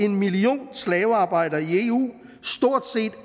en million slavearbejdere i eu stort set